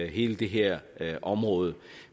hele det her område